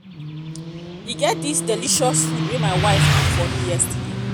e um get dis delicious food wey my wife cook for me yesterday